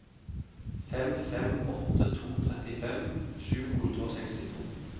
fem fem åtte to trettifem sju hundre og sekstito